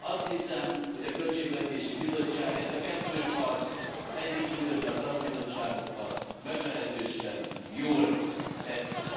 Azt hiszem, hogy a költségvetési bizottság ezt a kettős harcot, együttműködve a szakbizottságokkal, meglehetősen jól végzi.